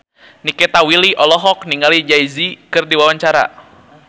Nikita Willy olohok ningali Jay Z keur diwawancara